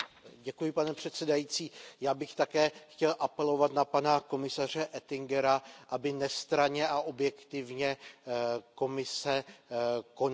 Pane předsedající, já bych také chtěl apelovat na pana komisaře Oettingera, aby nestranně a objektivně Komise konala.